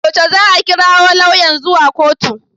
Yaushe za a kirawo lauyan zuwa kotu?